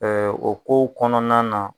o kow kɔnɔna na